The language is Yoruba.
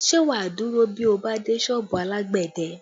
Ṣé wá dúró bí o bá dé sọ́ọ̀bù alágbẹ̀dẹ?